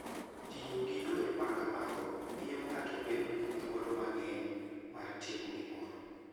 Tiyo gi yore ma kamago miyo ng'ato bedo gi thuolo mang'eny mar timo gimoro.